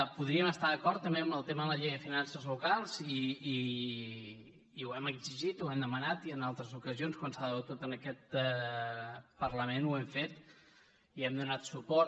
podríem estar d’acord també en el tema de la llei de finances locals i ho hem exigit ho hem demanat i en altres ocasions quan s’ha debatut en aquest parlament ho hem fet hi hem donat suport